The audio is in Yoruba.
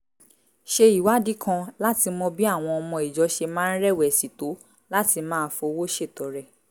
ṣe ìwádìí kan láti mọ bí àwọn ọmọ ìjọ ṣe máa ń rẹ̀wẹ̀sì tó láti máa fowó ṣètọrẹ